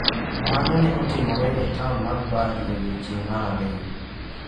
Mano ne otimore e taon mar Bhuj e odiechieng’ mar ariyo.